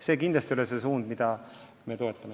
See kindlasti ei ole see suund, mida me toetame.